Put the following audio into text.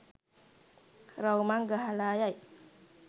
රවුමක් ගහලා යයි.